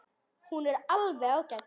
Hún er alveg ágæt.